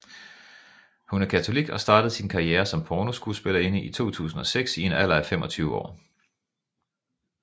Hun er katolik og startede sin karriere som pornoskuespillerinde i 2006 i en alder af 25 år